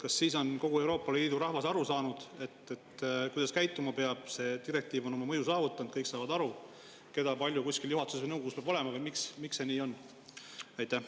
Kas siis on kogu Euroopa Liidu rahvas aru saanud, kuidas käituma peab, ja see direktiiv oma mõju saavutanud, kõik saavad aru, keda kui palju kuskil juhatuses või nõukogus olema peab, või miks see nii on?